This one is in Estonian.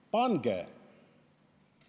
Pange!